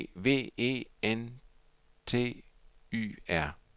E V E N T Y R